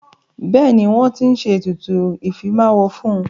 Bẹ́ẹ̀ni, wọ́n ti ń ṣe ètùtù ìfimáwo fún.